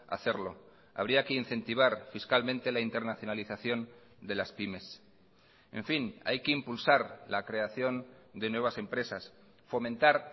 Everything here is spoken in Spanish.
hacerlo habría que incentivar fiscalmente la internacionalización de las pymes en fin hay que impulsar la creación de nuevas empresas fomentar